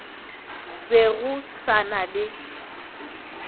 be go sa na le